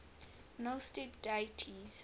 gnostic deities